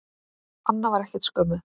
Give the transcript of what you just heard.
Anna var ekkert skömmuð.